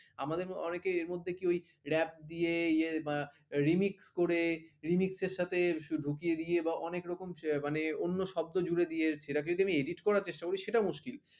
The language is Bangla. আমাদের অনেকের এর মধ্যে কি ওই rap দিয়ে ইয়ে remix করে remix র সাথে ঢুকিয়ে দিয়ে এবং অনেক রকম মানে অন্য শব্দ জুড়ে দিয়ে সেটাকে যদি আমি edit করার চেষ্টা করি সেটা মুশকিল